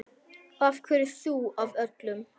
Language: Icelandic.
Af hverju þú af öllum?